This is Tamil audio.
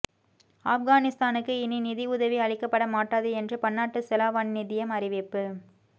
ஆப்கானிஸ்தானுக்கு இனி நிதி உதவி அளிக்கப்பட மாட்டாது என்று பன்னாட்டு செலாவணி நிதியம் அறிவிப்பு